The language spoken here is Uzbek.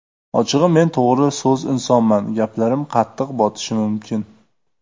Ochig‘i, men to‘g‘ri so‘z insonman, gaplarim qattiq botishi mumkin.